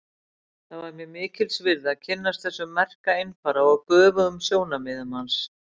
Það var mér mikils virði að kynnast þessum merka einfara og göfugum sjónarmiðum hans.